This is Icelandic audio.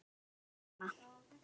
Þín systir Anna.